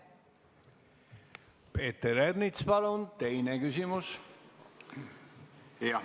Peeter Ernits, palun teine küsimus!